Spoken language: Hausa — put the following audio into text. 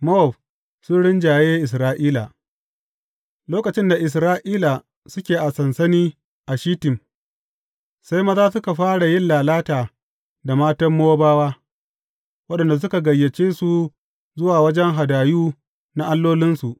Mowab sun rinjaye Isra’ila Lokacin da Isra’ila suke a sansani a Shittim, sai maza suka fara yin lalata da matan Mowabawa, waɗanda suka gayyace su zuwa wajen hadayu na allolinsu.